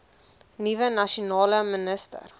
nuwe nasionale minister